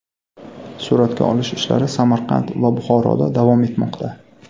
Suratga olish ishlari Samarqand va Buxoroda davom etmoqda.